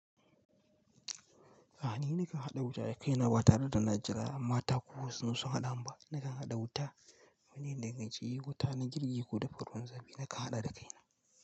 A'a ni nakan haɗa wuta da kaina ba tare da na jira mata ko wasu sun haɗa ba. Nakan haɗa wuta, mene ne shi wuta na girki ko da ruwan zafi nakan haɗa da kaina.